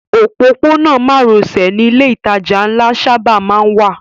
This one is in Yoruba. Òpópónà márosẹ̀ ni ilé ìtajà ńlá sábà má ń wà